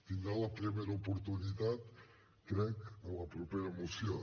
tindrà la primera oportunitat crec en la propera moció